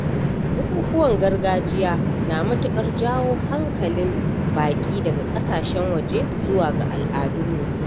Bukukuwan gargajiya na matuƙar jawo hankalin baƙi daga ƙasashen waje zuwa ga al'adun mu